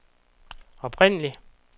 oprindelig